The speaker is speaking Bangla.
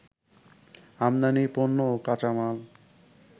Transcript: আমদানি পণ্য ও কাঁচামাল